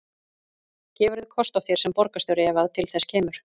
Gefurðu kost á þér sem borgarstjóri ef að til þess kemur?